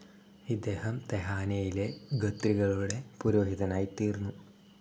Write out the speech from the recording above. ഇദ്ദേഹം തെഹാനയിലെ ഖത്രികളുടെ പുരോഹിതനായിത്തീർന്നു.